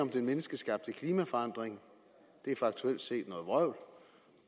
den menneskeskabte klimaforandring faktuelt set er noget vrøvl